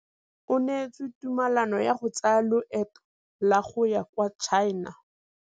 O neetswe tumalanô ya go tsaya loetô la go ya kwa China.